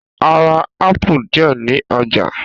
A rá ápù díẹ ní ọjà.